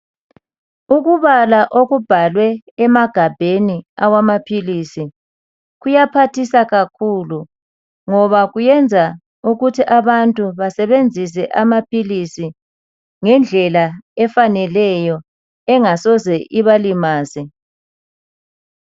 Ukubala okubhalwe emagabheni amaphilisi kuyaphathisa kakhulu, ngoba kuyenza ukuthi abantu basebenzise amaphilisi ngendlela efaneleyo engasoze ibalimaze.